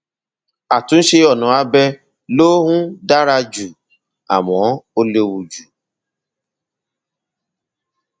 àtúnṣe ọnà abẹ ló um dára jù àmọ ó léwu jù